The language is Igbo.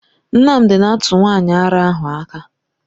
Nnamdi na-atụ nwanyị ara ahụ aka.